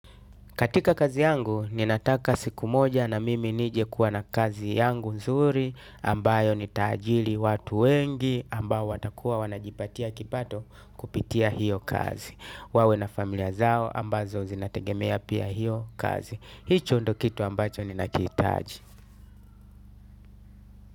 Katika kazi yangu ninataka siku moja na mimi nije kuwa na kazi yangu nzuri ambayo nitaajiri watu wengi ambao watakuwa wanajipatia kipato kupitia hiyo kazi. Wawe na familia zao ambazo zinategemea pia hiyo kazi. Hicho ndo kitu ambacho ninakihitaji.